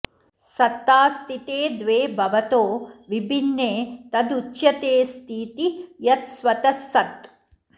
सत्तास्तिते द्वे भवतो विभिन्ने तदुच्यतेऽस्तीति यत् स्वतः सत्